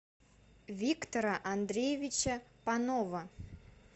виктора андреевича панова